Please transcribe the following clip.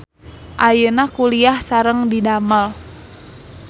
Ayeuna kuliah sareng didamel.